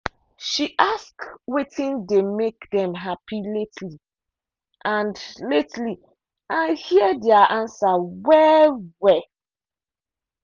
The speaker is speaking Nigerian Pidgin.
she ask wetin dey make dem happy lately and lately and hear their answer well-well.